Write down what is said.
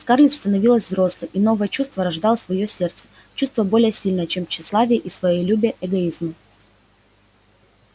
скарлетт становилась взрослой и новое чувство рождалось в её сердце чувство более сильное чем тщеславие и своелюбие эгоизма